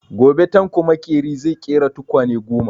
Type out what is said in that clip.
Gobe Tanko makeri zai ƙera tukwane goma.